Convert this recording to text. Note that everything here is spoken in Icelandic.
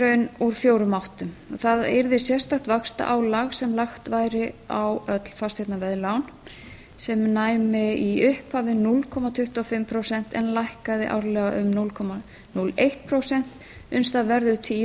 raun úr fjórum áttum það yrði sérstakt vaxtaálag sem lagt væri á öll fasteignaveðlán sem næmi í upphafi núll komma tuttugu og fimm prósent en lækkaði árlega um núll komma núll eitt prósent uns það verður tíu